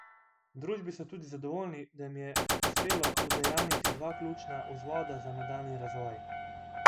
V družbi so tudi zadovoljni, da jim je uspelo udejanjiti dva ključna vzvoda za nadaljnji razvoj.